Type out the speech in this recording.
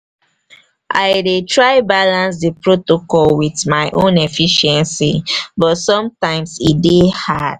i dey try balance di protocol with my own efficiency but sometimes e dey hard.